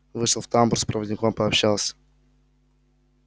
вышел в тамбур с проводником пообщался